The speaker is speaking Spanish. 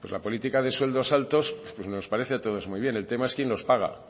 pues la política de sueldos altos nos parece a todos muy bien el tema es quién los paga